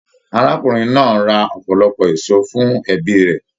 Arákùnrin náà ra ọpọlọpọ èso fún ẹbí rẹ.